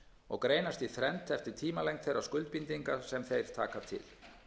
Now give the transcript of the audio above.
og greinast í þrennt eftir tímalengd þeirra skuldbindinga sem þeir taka til